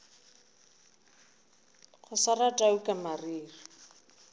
go swara tau ka mariri